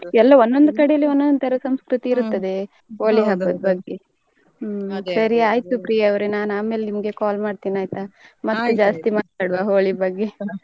ಎಲ್ಲ ಒಂದೊಂದು ಕಡೆಲಿ ಒಂದೊಂದು ಸಂಸ್ಕೃತಿ ಇರ್ತದೆ ಹೋಳಿ ಹಬ್ಬದ ಬಗ್ಗೆ. ಸರಿ ಆಯ್ತು ಪ್ರಿಯಾವ್ರೆ ನಾನು ಆಮೇಲೆ ನಿಮ್ಗೆ call ಮಾಡ್ತಿನಿ ಆಯ್ತಾ ಮತ್ತು ಜಾಸ್ತಿ ಮಾತಡ್ವ Holi ಬಗ್ಗೆ.